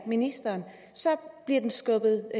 ministeren bliver skubbet